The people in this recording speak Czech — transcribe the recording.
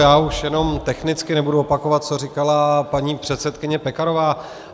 Já už jenom technicky, nebudu opakovat, co říkala paní předsedkyně Pekarová.